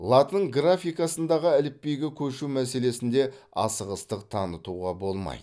латын графикасындағы әліпбиге көшу мәселесінде асығыстық танытуға болмайды